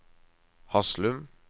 Haslum